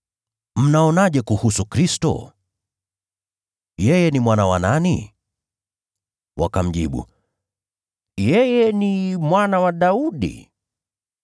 “Mnaonaje kuhusu Kristo? Yeye ni mwana wa nani?” Wakamjibu, “Yeye ni mwana wa Daudi.”